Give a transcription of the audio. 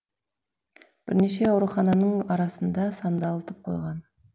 бірнеше аурухананың арасында сандалтып қойған